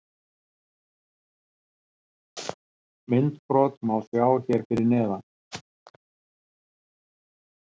Myndbrot má sjá hér fyrir neðan: